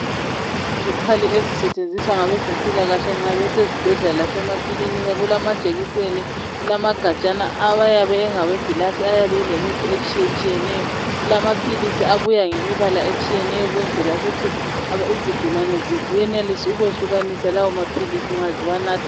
Izikhali ezisetshenziswa ngabezempilakahle nxa besezibhedlela lanxa besemakilinika kulamajekiseni kulamagatshana awayabe engawe gilasi ayabe elemithi etshiyeneyo. Kulaphilisi abuya ngemibala etshiyeneyo ukuthi izigulane ziyenelise ukwehlukanisa lawo maphilisi nxa ziwanatha